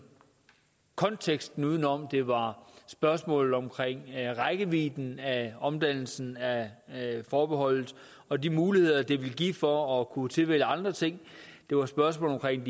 konteksten udenom det var spørgsmålet om rækkevidden af omdannelsen af forbeholdet og de muligheder det ville give for at kunne tilvælge andre ting det var spørgsmålet